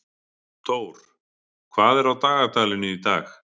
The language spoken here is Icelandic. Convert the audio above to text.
Thór, hvað er á dagatalinu í dag?